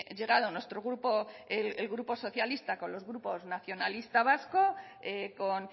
llegado nuestro grupo el grupo socialista con los grupos nacionalista vasco con